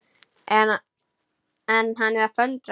En hann er að föndra.